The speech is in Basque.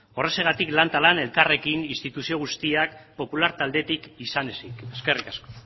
horrexegatik lan eta lan elkarrekin instituzio guztiak popular taldetik izan ezik eskerrik asko